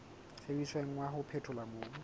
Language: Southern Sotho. sebediswang wa ho phethola mobu